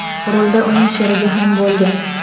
Rulda uning sherigi ham bo‘lgan.